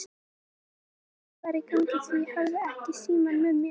Ég vissi ekki hvað var í gangi því ég hafði ekki símann með mér.